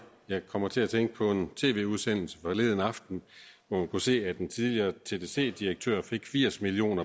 jeg kommer til at tænke på en tv udsendelse forleden aften hvor man kunne se at en tidligere tdc direktør fik firs million